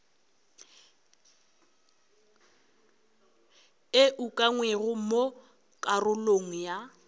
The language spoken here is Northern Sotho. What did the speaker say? e ukangwego mo karolong ya